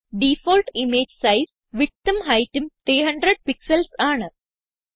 default image size Widthഉം Heightഉം 300 pixels ആണ്